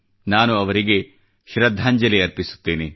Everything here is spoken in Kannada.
ನಾನು ಅವರಿಗೆ ಶ್ರದ್ಧಾಂಜಲಿ ಅರ್ಪಿಸುತ್ತಿದ್ದೇನೆ